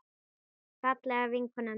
Fallega vinkona mín.